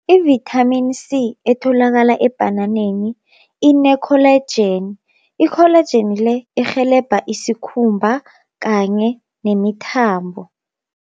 Ivithamini C etholakala ebhananeni ine-collagen, i-collagen le irhelebha isikhumba kanye nemithambo.